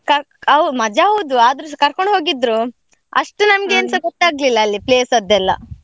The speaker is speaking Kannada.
ಕರ್ಕ್~ ಹೌ~ ಮಜಾ ಹೌದು, ಆದ್ರೂಸ ಕರ್ಕೊಂಡು ಹೋಗಿದ್ರು, ಅಷ್ಟು ನಮ್ಗೆ ಏನ್ಸ ಗೊತ್ತಾಗ್ಲಿಲ್ಲ ಅಲ್ಲಿ place ಅದ್ದೆಲ್ಲ.